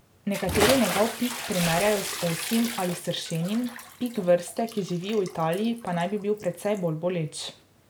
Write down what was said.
Nekateri njegov pik primerjajo z osjim ali sršenjim, pik vrste, ki živi v Italiji, pa naj bi bil precej bolj boleč.